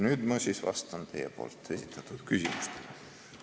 Nüüd ma vastan siis teie esitatud küsimustele.